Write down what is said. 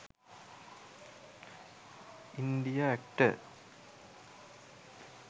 india actor